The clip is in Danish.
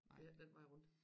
Ikke den vej rundt